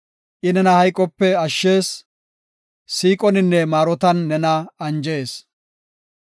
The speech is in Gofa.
I nena hayqope ashshees; siiqoninne maarotan nena anjees.